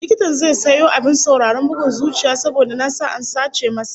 Likitan zai sayo abin sauraron bugun zuciya saboda nasa an sace masa